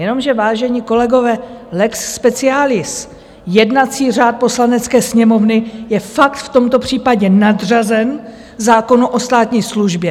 Jenomže, vážení kolegové, lex specialis, jednací řád Poslanecké sněmovny, je fakt v tomto případě nadřazen zákonu o státní službě.